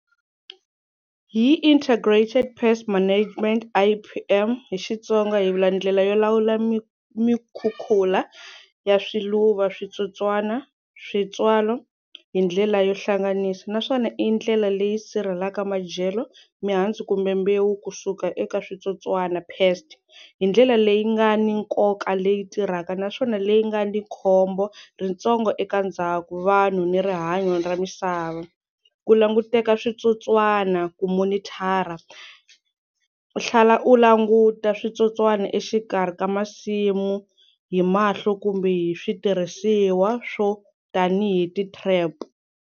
Hi Integrated Pest Management I_P_M hi Xitsonga hi vula ndlela yo lawula mi mikhukhula ya swiluva, switsotswana, switswalo hi ndlela yo hlanganisa naswona i ndlela leyi sirhelaka madyelo, mihandzu kumbe mbewu kusuka eka switsotswana pest, hi ndlela leyi nga ni nkoka leyi tirhaka naswona leyi nga ni khombo ritsongo eka ndzhaku vanhu ni rihanyo ra misava, ku languteka switsotswana ku monitor, u tlhela u languta switsotswana exikarhi ka masimu hi mahlo kumbe hi switirhisiwa swo tanihi ti-trap.